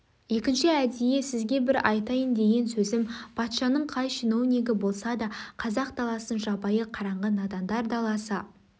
екінші әдейі сізге бір айтайын деген сөзім патшаның қай чиновнигі болса да қазақ даласын жабайы қараңғы надандар даласы